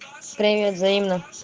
привет взаимно